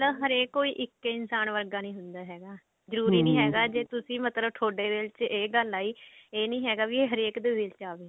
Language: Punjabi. ਨਾ ਹਰੇਕ ਕੋਈ ਇੱਕ ਇਨਸਾਨ ਵਰਗਾ ਨਹੀਂ ਹੁੰਦਾ ਹੈਗਾ ਜਰੂਰੀ ਨੀ ਹੈਗਾ ਜੇ ਮਤਲਬ ਤੁਸੀਂ ਥੋਡੇ ਦਿਲ ਵਿੱਚ ਇਹ ਗੱਲ ਆਈ ਇਹ ਨਹੀਂ ਹੈਗਾ ਕਿ ਹਰੇਕ ਦੇ ਦਿਲ ਵਿੱਚ ਆਵੇ